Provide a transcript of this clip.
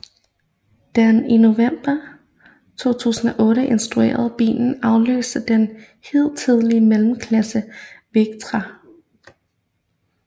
Den i november 2008 introducerede bil afløste den hidtidige mellemklassebil Vectra